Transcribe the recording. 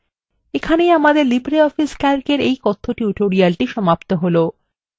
এইখানেই আমাদের libreoffice calc এর এই কথ্য tutorial সমাপ্ত হলো